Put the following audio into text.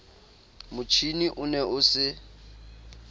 motjhine o ne o se